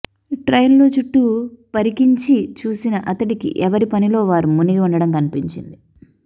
ట్రైన్లో చుట్టూ పరికించి చూసిన అతడికి ఎవరి పనిలో వారు మునిగి ఉండడం కనిపించింది